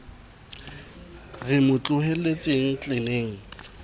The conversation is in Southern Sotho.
re re mo tlohelletseng tleneng